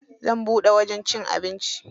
Zan buɗe wajen cin abinci.